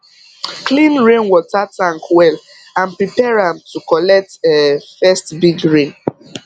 clean rainwater tank well and prepare am to collect um first big rain